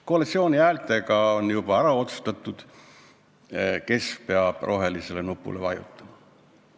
Koalitsioon on juba ära otsustanud, et peab rohelisele nupule vajutama.